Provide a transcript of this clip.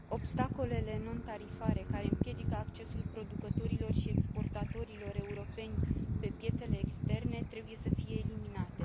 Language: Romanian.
Obstacolele non tarifare care împiedică accesul producătorilor și exportatorilor europeni pe piețele externe trebuie să fie eliminate.